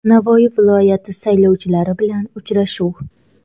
Navoiy viloyati saylovchilari bilan uchrashuv.